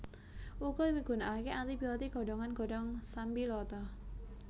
Uga migunakake anti biotik godhongan godhong sambiloto